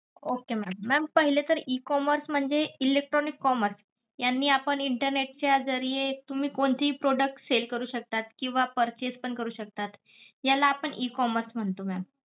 Okey ma'am. Ma'am पहिले तर E commerce म्हणजे electronic commerce. यांनी आपण internet च्या जरीये तुम्ही कोणतेही product sell करू शकता, किंवा purchase पण करू शकता. याला आपण E commerce म्हणतो ma'am.